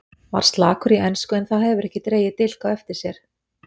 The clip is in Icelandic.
Var slakur í ensku en það hefur ekki dregið dilk á eftir sér.